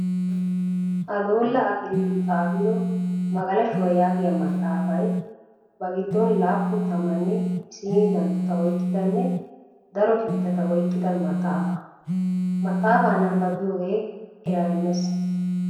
Adoola Akiliilu xaafido "Magalashuwa" yaagiya maxaafay ba giddon laappun tammanne isiini danttota oyqqidanne daro kiitata oyqqida maxaafay. Maxaafaa nabbabiyogee eraa immees.